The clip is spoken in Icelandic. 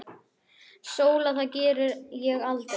SÓLA: Það geri ég aldrei!